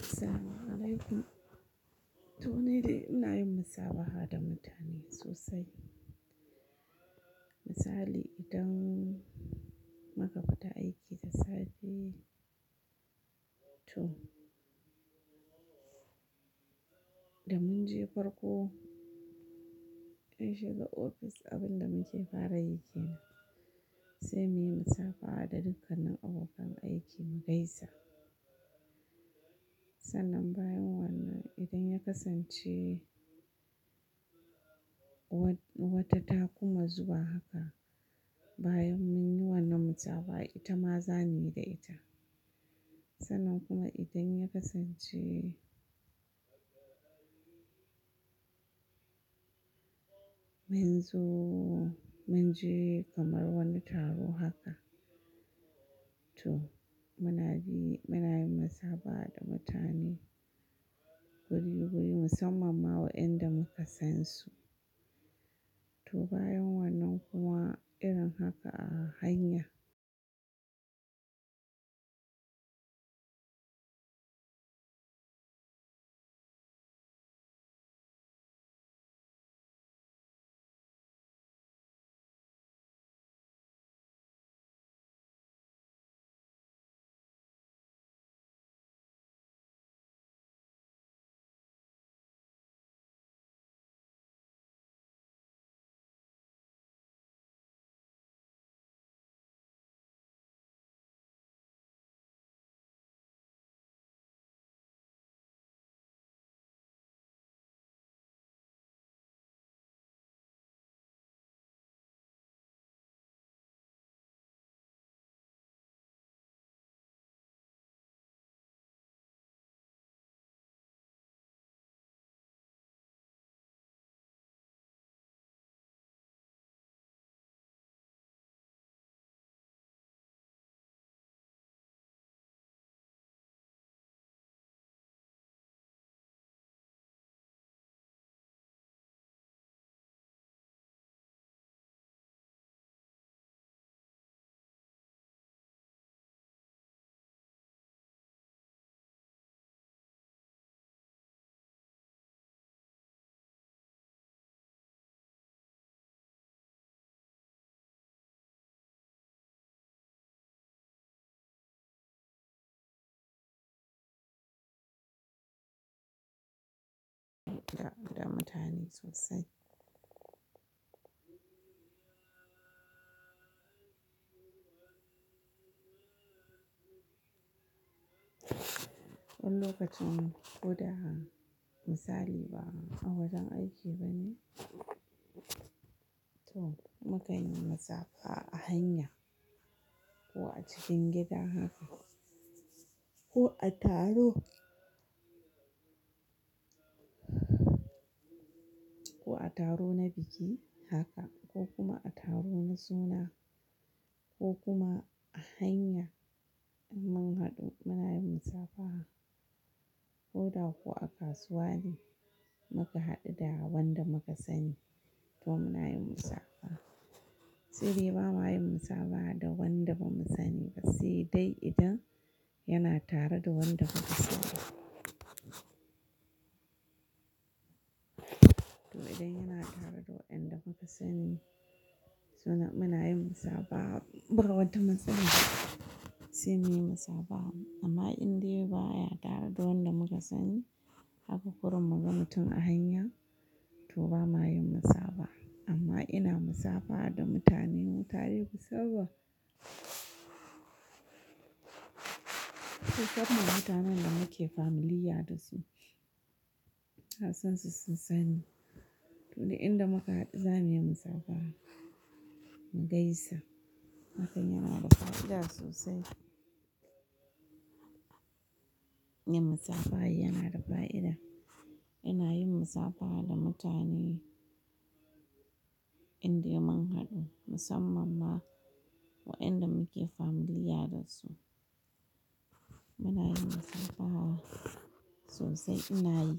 Assalamu'alaikum. Toh, ni dai ina yin musabaha da mutane sosai. Misali idan muka fita aiki da safe to da mun je farko an shiga ofis abin da muke fara yi kenan sai muyi musabaha da dukkanin abokan aikin mu gaisa. Sannan bayan wannan idan ya kasance wata ta kuma zuwa haka bayan mun yi wannan musabaha ita ma za muyi da ita. Sannan kuma idan ya kasance mun zo mun je kamar wani taro haka to muna yi musabaha da mutane guri-guri musamman ma waɗanda muka san su. To bayan wannan kuma irin haka a hanya. Da mutane sosai. Wani lokacin ko da misali ba a wajen aiki bane toh mukan yi musabaha a hanya ko a cikin gida haka ko a taro ko a taro na biki haka ko kuma a taro na suna ko kuma a hanya in mun haɗu muna yin musabaha ko da ko a kasuwa ne muka haɗu da wanda muka sani to muna yin musabaha. Saidai ba ma yin musabaha da wanda ba mu sani ba si dai idan yana tare da wanda muka sani. To idan yana tare da wanda muka sani so nan muna yin musabaha ba wata matsala sai muyi musabaha amma in dai ba ya tare da wanda muka sani haka kurum muka ga mutum a hanya to ba ma yin musabaha amma ina musabaha da mutane mutane musamman musamman mutanen da muke familiar da su. Na sansu sun sani to dai inda muka haɗu za muyi musabaha mu gaisa. Hakan yana da fa'ida sosai. Yin musafaha yana da fa'ida. Ina yin musafaha da mutane inde mun haɗu musamman ma wainda muke familiar da su. Muna yin musafaha sosai ina yi